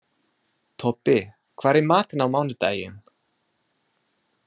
Tobbi, hvað er í matinn á mánudaginn?